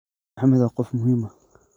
"Maxamed waa qof muhiim ah.